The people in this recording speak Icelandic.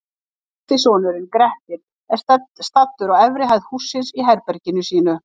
Yngsti sonurinn, Grettir, er staddur á efri hæð hússins, í herberginu sínu.